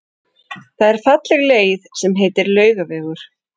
Það er falleg leið sem heitir Laugavegur.